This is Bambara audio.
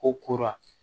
Ko kora